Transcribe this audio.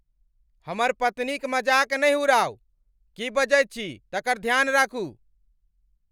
हमर पत्नीक मजाक नहि उड़ाउ। की बजैत छी तकर ध्यान राखू!